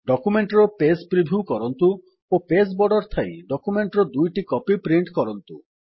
document ର page preview କରନ୍ତୁ ଓ ପେଜ୍ ବର୍ଡର୍ ଥାଇ ଡକ୍ୟୁମେଣ୍ଟ୍ ର ଦୁଇଟି କପି ପ୍ରିଣ୍ଟ୍ କରନ୍ତୁ